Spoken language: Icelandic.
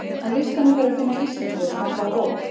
Á listanum þarf að finna íslensku og smella á OK.